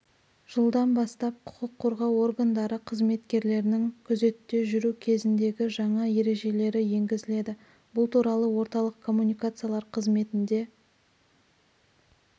жылдан бастап құқық қорғау органдары қызметкерлерінің күзетте жүру кезіндегі жаңа ережелері енгізіледі бұл туралы орталық коммуникациялар қызметінде